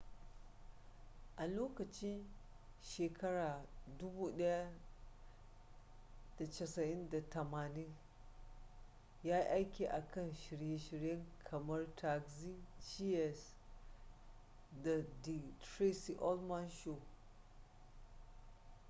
a lokacin 1980s yayi aiki a kan shirye-shirye kamar taxi cheers da the tracy ullman show